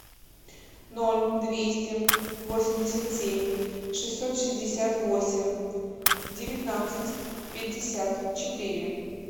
ноль двести восемьдесят семь шестьсот шестьдесят восемь девятнадцать пятьдесят четыре